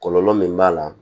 Kɔlɔlɔ min b'a la